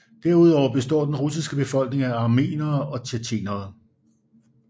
Derudover består den russiske befolkning af armenere og tjetjenere